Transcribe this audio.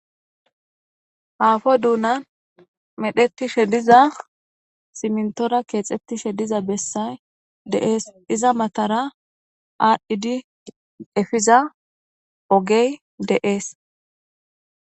Apu duunan medhetishe diza simintora kexetishe diza besay de'esi, iza matara adhid efiza ogey de'es.